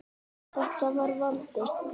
Þetta var Valdi.